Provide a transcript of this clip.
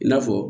I n'a fɔ